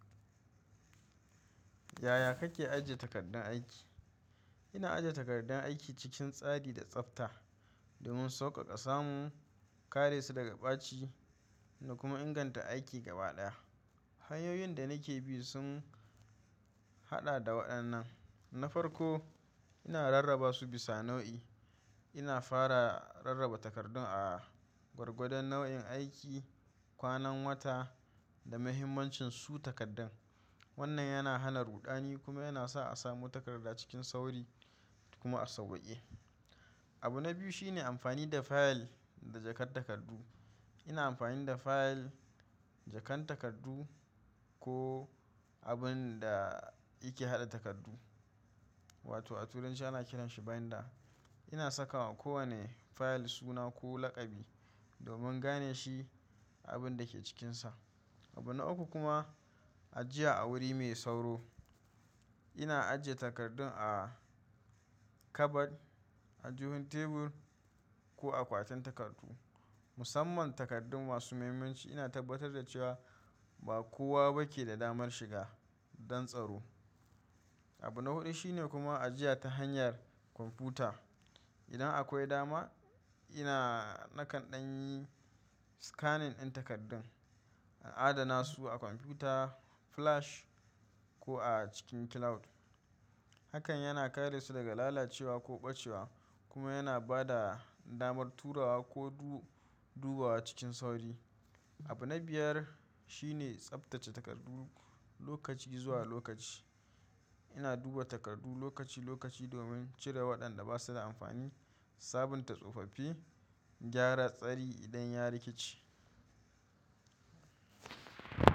Yaya kake ajiye takardun aiki? Ina ajiye takardun aiki cikin tsari da tsafta domin sauƙaƙa samu, kare su daga ɓaci da kuma inganta aiki gaba ɗaya. Hanyoyin da nake bi sun haɗa da waɗannan: na farko, ina rarraba su bisa nau'i. Ina fara rarraba takardun a gwargwadon nau'in aiki, kwanan wata, da mahimmancin su takardan. Wannan yana hana ruɗani kuma yana sa a samu takarda cikin sauri kuma a sauƙaƙe. Abu na biyu shine amfani da file da jakar takardu. Ina amfani da file, jakar takardu ko abun da ake haɗa takardu wato a turanci ana kiran shi binder. Ina sakawa kowane file suna ko laƙabi domin gane shi abun da ke cikinsa. Abu na uku kuma ajiya a wuri mai sauro. Ina ajiye takardun a kabad, a jikin tebur ko akwatin takardu. Musamman takardun masu muhimmanci ina tabbatar da cewa ba kowa ba ke da damar shiga don tsaro. Abu na huɗu shine kuma ajiya ta hanyar kwamfuta. Idan akwai dama, ina nakan ɗan yi scanning ɗin takardun, adana su a kwamfuta, flash ko a cikin cloud. Hakan yana kare su daga lalacewa ko ɓacewa kuma yana ba da damar turawa ko dubawa cikin sauri. Abu na biyar shine tsaftace takardu lokaci zuwa lokaci. Ina duba takardu lokaci-lokaci domin cire waɗanda ba su da amfani, sabunta tsofaffi, gyara tsari idan ya rikice.